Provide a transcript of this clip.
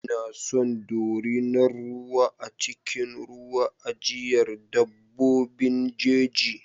Ina son dorinar ruwa a cikin wurin ajiyar dabbobin jeji.